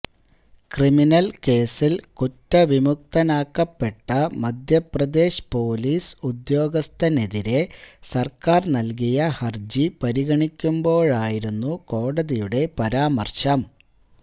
criminal കേസില് കുറ്റവിമുക്തനാക്കപ്പെട്ട Madhya Pradesh police ഉദ്യോഗസ്ഥനെതിരെ സര്ക്കാര് നല്കിയ ഹര്ജി പരിഗണിക്കുമ്പോഴായിരുന്നു കോടതിയുടെ പരാമര്ശം